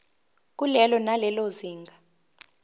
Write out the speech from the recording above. kulelo nalelo zinga